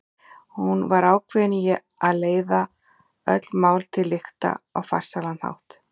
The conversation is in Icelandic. Hún var ákveðin í að leiða öll mál til lykta á farsælan hátt.